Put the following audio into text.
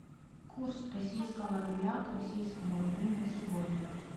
курс российского рубля к российскому рублю на сегодня